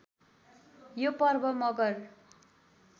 यो पर्व मगर